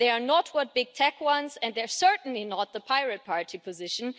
They are not what big tech wants and they are certainly not the Pirate Party position.